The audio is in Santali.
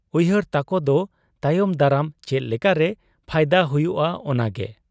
ᱩᱭᱦᱟᱹᱨ ᱛᱟᱠᱚᱫᱚ ᱛᱟᱭᱚᱢ ᱫᱟᱨᱟᱢ, ᱪᱮᱫ ᱞᱮᱠᱟᱨᱮ ᱯᱷᱟᱭᱫᱟ ᱦᱩᱭᱩᱜ ᱟ ᱚᱱᱟᱜᱮ ᱾